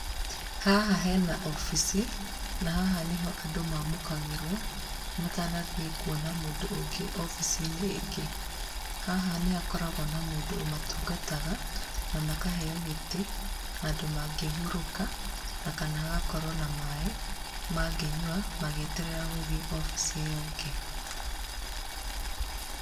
Haha hena obici, na haha nĩho andũ mamũkagĩrwo matanathiĩ kuona mũndũ ũngĩ obici-inĩ ĩngĩ. Haha nĩhakoragũo na mũndũ ũmatungataga, na makaheo gĩtĩ, handũ mangĩhurũka, na kana hagakorwo na maĩ mangĩnyua magĩeterera gũthiĩ obici ĩyo ĩngĩ.